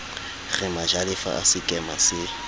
re majalefa a sekema se